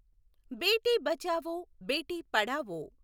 Beti Bachao Beti Padhao